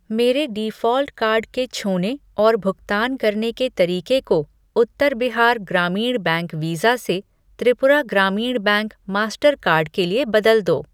मेरे default card के छूने और भुगतान करने के तरीके को उत्तर बिहार ग्रामीण बैंक वीज़ा से Tripura Gramin Bank Mastercard के लिए बदल दो।